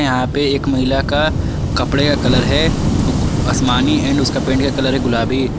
यहां पे एक महिला का कपड़े का कलर है गु आसमानी एंड उसका पैंट का कलर है गुलाबी।